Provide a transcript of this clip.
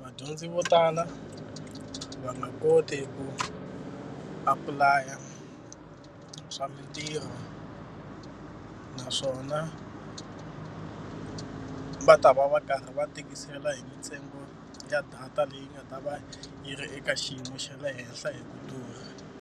vadyondzi vo tala va nga koti ku apply-a swa mintirho. Naswona va ta va va karhi va tikisela hi mintsengo ya data leyi nga ta va yi ri eka xiyimo xa le henhla hi ku durha.